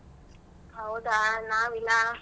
ಹೌದಾ ನಾವಿಲ್ಲ.